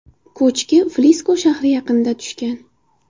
Ko‘chki Frisko shahri yaqinida tushgan.